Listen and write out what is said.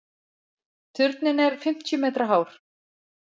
Turninn er fimmtíu metra hár.